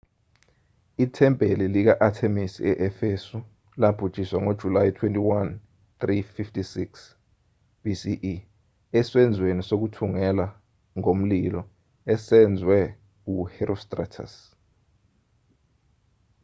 ithempeli lika-athemisi e-efesu labhujiswa ngojulayi 21 356 bce esenzweni sokuthungela ngomlilo esenzwe u-herostratus